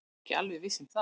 Ekki alveg viss með það.